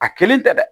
A kelen tɛ dɛ